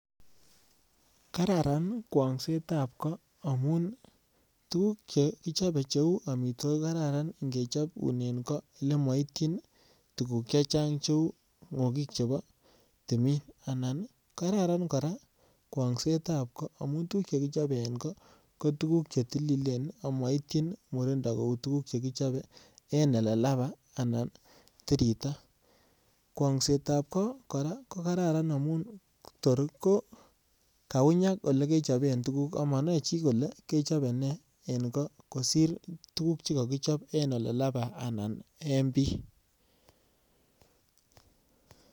Kararan kwong'setab amun tuguk che kichobe cheuu amitwokik ko kararan nge chobunen ko lemoityin tuguk chechang cheuu ngokik ab timin kararan koraa kwong'setab ko amun tuguk che tililen amo itiyin murindo kouu che kichobe en ele labaa anan tirita. Kwong'setab koraa koraran amun tor ko kaunyak ole kechoben tuguk amo noe chi kolee kechobe nee en ko kosir tuguk che kokichob en ole lapai anan en bii